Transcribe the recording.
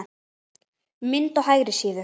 Mynd á hægri síðu.